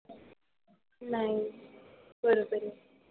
नाही. बरोबर आहे.